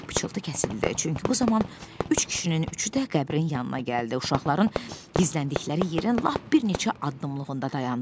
Pıçıltı kəsildi, çünki bu zaman üç kişinin üçü də qəbrin yanına gəldi, uşaqların gizləndikləri yerin lap bir neçə addımlığında dayandılar.